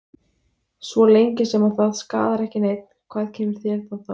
Svo lengi sem að það skaðar ekki neinn, hvað kemur þér það þá við?